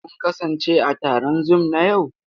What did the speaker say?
Kun kasance a taron Zoom na yau?